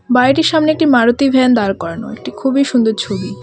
বাড়িটির সামনে একটি মারুতি ভ্যান দাঁড় করানো একটি খুবই সুন্দর ছবি .